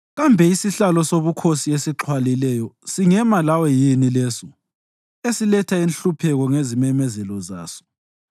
Kambe isihlalo sobukhosi esixhwalileyo singema lawe yini leso esiletha inhlupheko ngezimemezelo zaso?